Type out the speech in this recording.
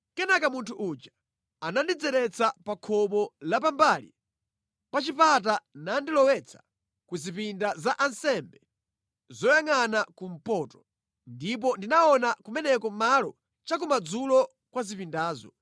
Kenaka munthu uja anandidzeretsa pa khomo la pambali pa chipata nandilowetsa ku zipinda za ansembe zoyangʼana kumpoto. Ndipo ndinaona kumeneko malo chakumadzulo kwa zipindazo.